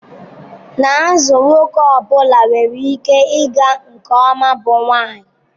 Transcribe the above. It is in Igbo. N'azụ nwoke ọ bụla nwere ihe ịga nke ọma bụ nwanyị.